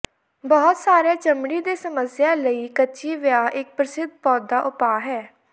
ਬਹੁਤ ਸਾਰੇ ਚਮੜੀ ਦੀਆਂ ਸਮੱਸਿਆਵਾਂ ਲਈ ਕੱਚੀ ਵੇਆ ਇਕ ਪ੍ਰਸਿੱਧ ਪੌਦਾ ਉਪਾਅ ਹੈ